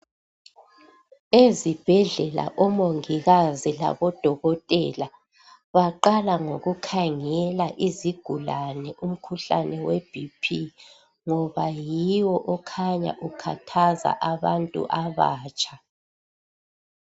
Ezibhedlela omongikazi labodokotela baqala ngokukhangela izigulane umkhuhlane we bp ngoba yiwo okhanya ukhathaza abantu abatsha .